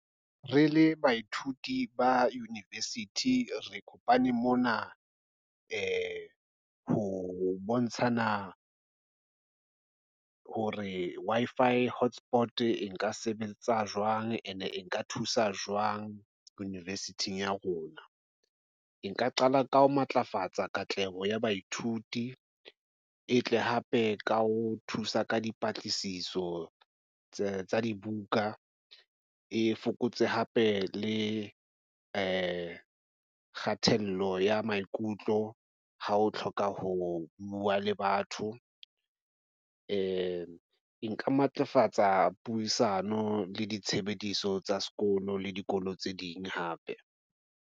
Re le baithuti ba university, re kopane mona ho bontshana ho re, Wi-Fi hotspot e nka sebetsa jwang and-e e nka thusa jwang university-ng ya rona. E nka qala ka ho matlafatsa katleho ya baithuti e tle hape ka ho thusa ka dipatlisiso tsa dibuka e fokotse hape le kgatello ya maikutlo ha o hloka ho bua le batho. E nka matlafatsa puisano le ditshebediso tsa sekolo le dikolo tse ding hape.